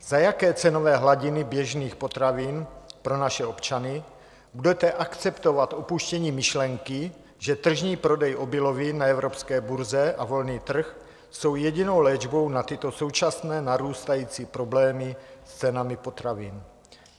Za jaké cenové hladiny běžných potravin pro naše občany budete akceptovat opuštění myšlenky, že tržní prodej obilovin na evropské burze a volný trh jsou jedinou léčbou na tyto současné narůstající problémy s cenami potravin?